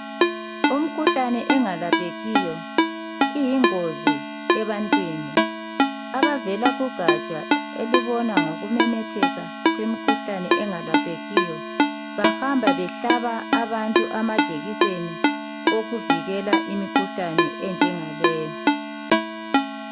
Imkhuhlane engalaphekiyo iyingozi ebantwini. Abavela kugatsha elibona ngokumemetheka kwemkhuhlane engelaphekiyo bahamba behlaba abantu amajekiseni okuvikela imikhuhlane enjengaleyo.